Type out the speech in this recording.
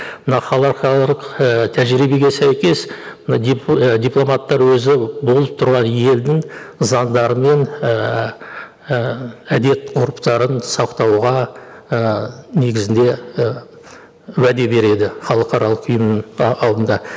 мына і тәжірибеге сәйкес мына і дипломаттар өзі болып тұрған елдің заңдары мен ііі әдет ғұрыптарын сақтауға ыыы негізінде і уәде береді халықаралық ұйымның алдында